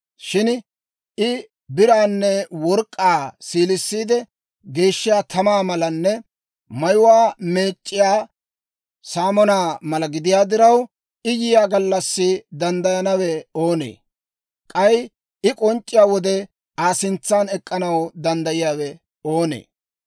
Shin I biraanne work'k'aa siilissiide geeshshiyaa tamaa malanne mayuwaa meec'c'iyaa saamonaa mala gidiyaa diraw, I yiyaa gallassi danddayanawe oonee? K'ay I k'onc'c'iyaa wode Aa sintsan ek'k'anaw danddayiyaawe oonee?